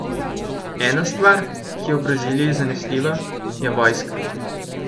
Ena stvar, ki je v Braziliji zanesljiva, je vojska.